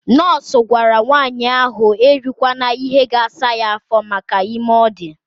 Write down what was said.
Nọọsụ gwara nwanyị ahụ erikwana ihe ga-asa ya afọ maka ime ọ dị.